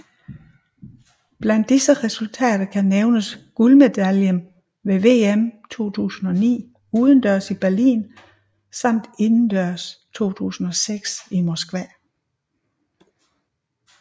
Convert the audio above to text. Blandt disse resultater kan nævnes guldmedaljen ved VM 2009 udendørs i Berlin samt indendørs 2006 i Moskva